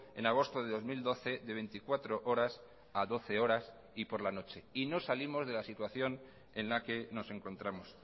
en agosto de dos mil doce de veinticuatro horas a doce horas y por la noche y no salimos de la situación en la que nos encontramos